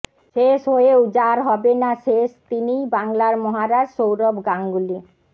শেষ হয়েও যাঁর হবে না শেষ তিনিই বাংলার মহারাজ সৌরভ গাঙ্গুলি